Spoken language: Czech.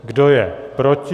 Kdo je proti?